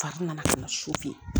Fa nana ka na so